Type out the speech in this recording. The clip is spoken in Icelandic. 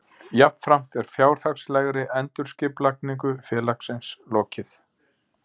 Jafnframt er fjárhagslegri endurskipulagningu félagsins lokið